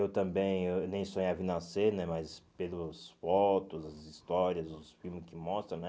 Eu também eu nem sonhava em nascer né, mas pelos fotos, as histórias, os filmes que mostram, né?